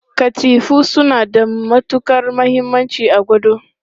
Katifu suna da matukar muhimmanci a gado.